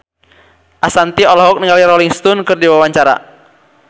Ashanti olohok ningali Rolling Stone keur diwawancara